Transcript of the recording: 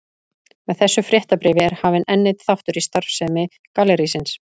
Með þessu fréttabréfi er hafinn enn einn þáttur í starfsemi gallerísins.